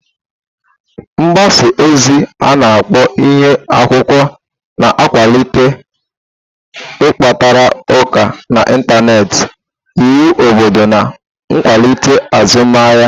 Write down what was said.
Gbaza ozi a-na akpo Ihu-akwukwuo na-akwalite ịkparịta ụka n'Ịntanet, íwu obodo na nkwalite azụmahịa.